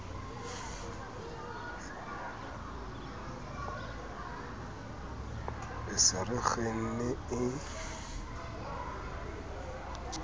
re se re kgenne e